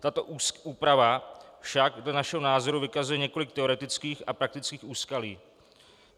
Tato úprava však dle našeho názoru vykazuje několik teoretických a praktických úskalí.